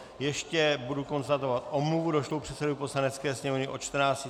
Ještě budu konstatovat omluvu došlou předsedovi Poslanecké sněmovny.